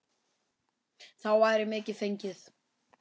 Þá væri mikið fengið.